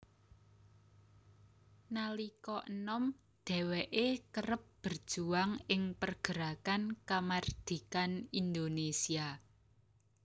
Nalika enom dheweke kerep berjuang ing pergerakan kamardikan Indonesia